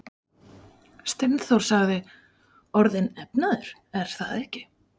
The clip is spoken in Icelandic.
Steindór sagði: Orðinn efnaður, er það ekki?